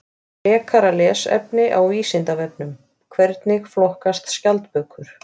Frekara lesefni á Vísindavefnum: Hvernig flokkast skjaldbökur?